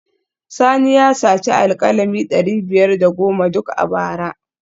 Sani ya saci alkalami dari biyar da goma duk a bara